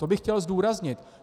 To bych chtěl zdůraznit.